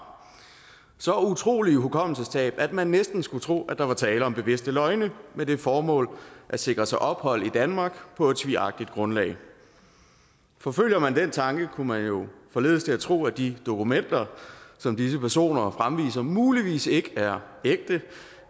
så utrolige hukommelsestab at man næsten skulle tro at der var tale om bevidste løgne med det formål at sikre sig ophold i danmark på et svigagtigt grundlag forfølger man den tanke kunne man jo forledes til at tro at de dokumenter som disse personer fremviser muligvis ikke er ægte